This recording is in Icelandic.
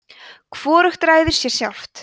hvorugt ræður sér sjálft